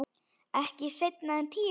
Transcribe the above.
Ekki seinna en tíu.